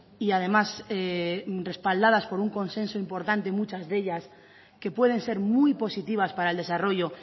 y además respaldadas por un consenso importante muchas de ellas que pueden ser muy positivas para el desarrollo